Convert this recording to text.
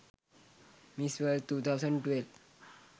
miss world 2012